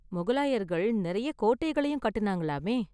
முகலாயர்கள் நிறைய கோட்டைகளையும் கட்டுனாங்கலாமே.